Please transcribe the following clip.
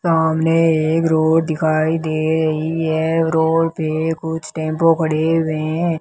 सामने एक रोड दिखाई दे रही है रोड पे कुछ टेंपो खड़े हुए हैं।